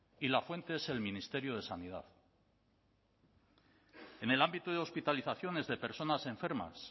y la fuente es el ministerio de sanidad en el ámbito de hospitalizaciones de personas enfermas